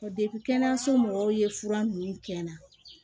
kɛnɛyaso mɔgɔw ye fura nunnu kɛn na